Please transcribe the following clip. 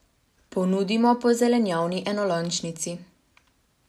Ponudimo po zelenjavni enolončnici.